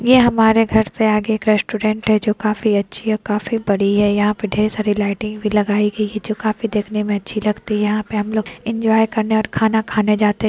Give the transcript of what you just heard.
ये हमारे घर से आगे एक रेस्टोरेंट है जो काफी अच्छी और काफी बड़ी है यहाँ पे ढेर सारी लाइटिंग भी लगाई गई है जो काफी देखने में अच्छी लगती है यहाँ पर हमलोग एन्जॉय करने और खाना खाने जाते--